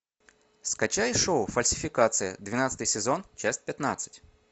скачай шоу фальсификация двенадцатый сезон часть пятнадцать